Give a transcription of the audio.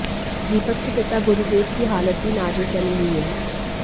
दीपक के पिता गुरदेव की हालत भी नाजुक बनी हुई है